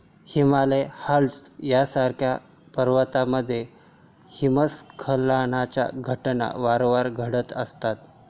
Himalaya, Alps यासारख्या पर्वतामध्ये हिमस्खलनाच्या घटना वारंवार घडत असतात.